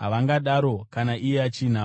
Havangadaro, kana iye achinavo.